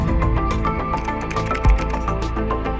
Musiqi insanın həyatında çox önəmli bir yer tutur.